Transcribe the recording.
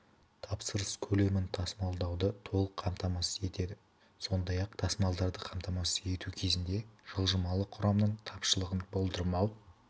тапсырыс көлемін тасымалдауды толық қамтамасыз етеді сондай-ақ тасымалдарды қамтамасыз ету кезінде жылжымалы құрамның тапшылығын болдырмау